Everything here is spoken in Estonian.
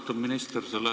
Austatud minister!